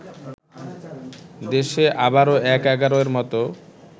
দেশে আবারো ১/১১-এর মতো